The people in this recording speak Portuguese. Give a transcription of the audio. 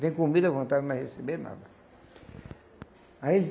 Tem comida à vontade, mas receberam nada. Aí